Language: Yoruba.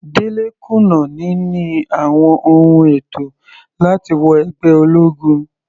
Dele kùnà níní àwọn ohun ètò láti wọ ẹgbẹ́ ológun.